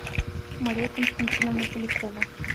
мария константиновна полякова